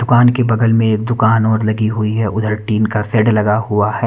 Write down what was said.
दुकान के बगल में दुकान और लगी हुई है उधर टिन का सेड लगा हुआ है।